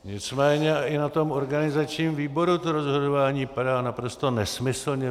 Nicméně i na tom organizačním výboru to rozhodování padá naprosto nesmyslně.